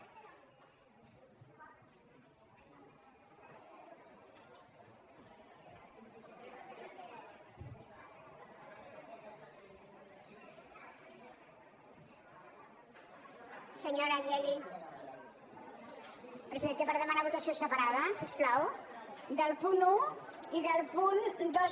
presidenta per demanar votació separada si us plau del punt un i del punt dos